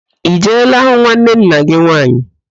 I jeela hụ nwanne nna gị nwaanyị?